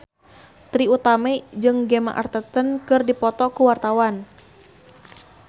Trie Utami jeung Gemma Arterton keur dipoto ku wartawan